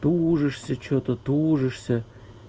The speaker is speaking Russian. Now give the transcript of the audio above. тужишься что-то тужишься